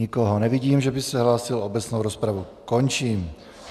Nikoho nevidím, že by se hlásil, obecnou rozpravu končím.